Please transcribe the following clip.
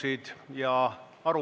Aitäh!